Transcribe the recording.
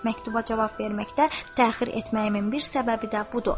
Məktuba cavab verməkdə təxir etməyimin bir səbəbi də budur.